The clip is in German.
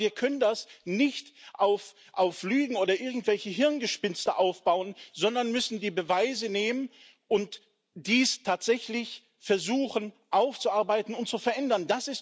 Aber wir können das nicht auf Lügen oder irgendwelchen Hirngespinsten aufbauen, sondern müssen die Beweise nehmen und dies tatsächlich versuchen aufzuarbeiten und zu verändern.